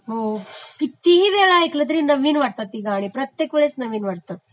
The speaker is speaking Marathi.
हो..कितीही वेळा ऐकली तरी नवीन वाटतात ती गाणी, प्रत्येक वेळेस नवीन वाटतात